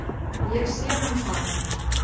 Ég sé hann fara